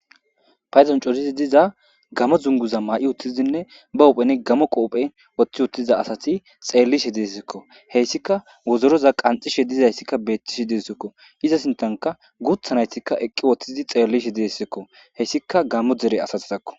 Payzon corizi diza gamo zunguza maa'i uttizinne ba uphene gamo qoophe woththi uttiza asati xeellishe deessikko heyssika wozoroza qanxishe dizayssikka beettishe deessikko iza sintanka guuthanaytikka eqqi woththizi xeellishe diessikko hessika gammo dere asati takko.